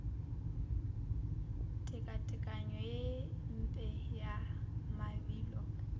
tekatekanyo ye mpe ya mabilo